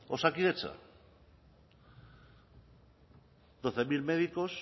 osakidetza doce mil médicos